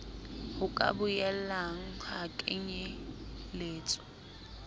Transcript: ho ka boelang ha kenyeletswa